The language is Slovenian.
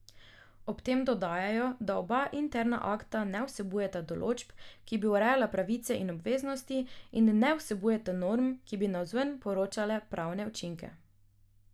Ob tem dodajajo, da oba interna akta ne vsebujeta določb, ki bi urejale pravice in obveznosti, in ne vsebujeta norm, ki bi navzven povzročale pravne učinke.